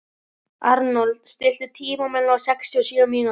Arnold, stilltu tímamælinn á sextíu og sjö mínútur.